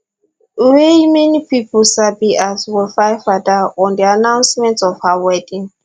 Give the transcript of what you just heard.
wey many pipo sabi as wofaifada on di announcement of her wedding